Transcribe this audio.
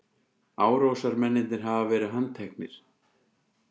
Árásarmennirnir hafa verið handteknir